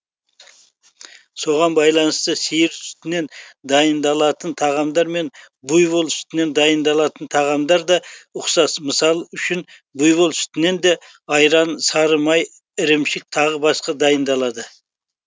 соған байланысты сиыр сүтінен дайындалатын тағамдар мен буйвол сүтінен дайындалатын тағамдар да ұқсас мысал үшін буйвол сүтінен де айран сары май ірімшік тағы басқа дайындалады